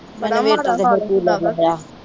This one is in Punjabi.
ਬੜਾ ਈ ਮਾੜਾ ਹਾਲ ਏ।